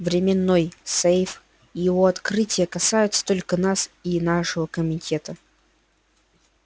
временной сейф и его открытие касаются только нас и нашего комитета